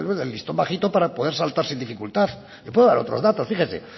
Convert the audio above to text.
de listo en bajito para poder saltar sin dificultad le puedo dar otros datos fíjese